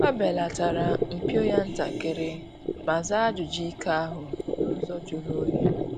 Ọ belatara mpio ya ntakịrị ma zaa ajụjụ ike ahu n’ụzọ julu onyi